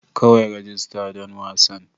Kawai rajista don wasan.